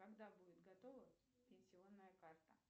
когда будет готова пенсионная карта